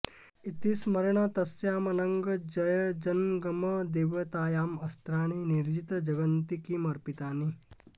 इति स्मरेण तस्याम् अनंग जय जंगम देवतायाम् अस्त्राणि निर्जित जगन्ति किम् अर्पितानि